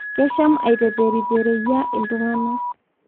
Kesham aiteperipereyia ltungana